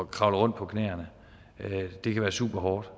kravle rundt på knæene det kan være super hårdt